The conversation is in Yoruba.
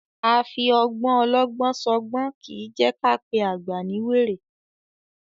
A fi ọgbọ́n ọlọ́gbọ́n ṣọgbọ́n kì í jẹ́ ká pé àgbà ní wèrè.